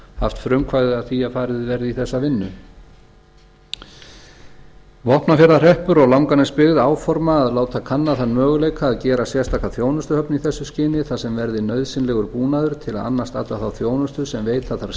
haft frumkvæði að því að farið verði í þessa vinnu vopnafjarðarhreppur og langanesbyggð áforma að láta kanna þann möguleika að gera sérstaka þjónustuhöfn í þessu skyni þar sem verði nauðsynlegur búnaður til að annast alla þá þjónustu sem veita þarf